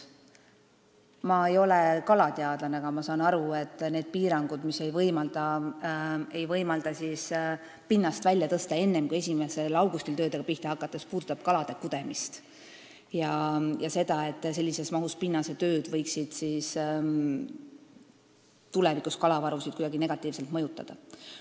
Ma ei ole kalateadlane, aga ma saan aru, et need piirangud, mis ei võimalda pinnast välja tõsta enne kui 1. augustil töödega pihta hakates, puudutab kalade kudemist ja seda, et sellises mahus pinnasetööd võiksid tulevikus kalavarusid kuidagi negatiivselt mõjutada.